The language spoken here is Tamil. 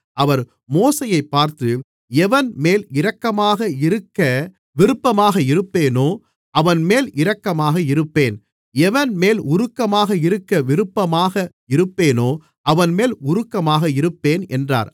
அவர் மோசேயைப் பார்த்து எவன்மேல் இரக்கமாக இருக்க விருப்பமாக இருப்பேனோ அவன்மேல் இரக்கமாக இருப்பேன் எவன்மேல் உருக்கமாக இருக்க விருப்பமாக இருப்பேனோ அவன்மேல் உருக்கமாக இருப்பேன் என்றார்